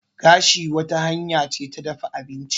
Gashi wata hanya ce ta dafa abinci.